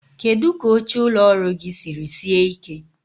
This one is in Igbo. Kedu ka oche ụlọ ọrụ gị siri sie ike?